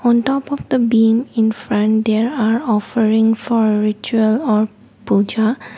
on top of the beam in front there are offering for ritual of puja .